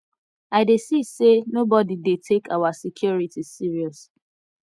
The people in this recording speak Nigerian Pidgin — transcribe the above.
i dey see say nobody dey take our security serious